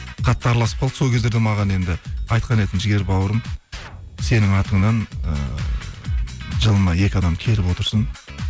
қатты араласып қалдық сол кездерде маған енді айтқан еді жігер бауырым сенің атыңнан ыыы жылына екі адам келіп отырсын